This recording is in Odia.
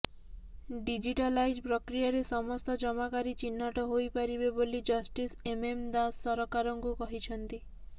ଡିଜିଟାଲାଇଜ ପ୍ରକ୍ରିୟାରେ ସମସ୍ତ ଜମାକାରୀ ଚିହ୍ନଟ ହୋଇ ପାରିବେ ବୋଲି ଜଷ୍ଟିସ ଏମଏମ ଦାସ ସରକାରଙ୍କୁ କହିଛନ୍ତି